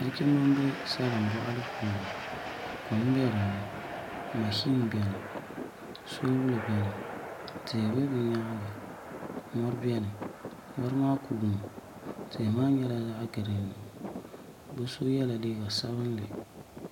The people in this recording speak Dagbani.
Nachimbi n bɛ salin boɣali puuni kom bɛ dinnI mashin biɛni soobul biɛni tihi bɛ bi nyaanga mori biɛni mori maa kuumi tihi maa nyɛla zaɣ giriin bi so yɛla liiga sabinli